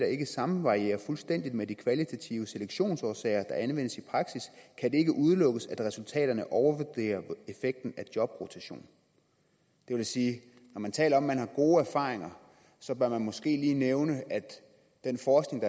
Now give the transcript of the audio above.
ikke samvarierer fuldstændig med de kvalitative selektionsårsager der anvendes i praksis kan det ikke udelukkes at resultaterne overvurderer effekten af jobrotation det vil sige at når man taler om er gode erfaringer bør man måske lige nævne at den forskning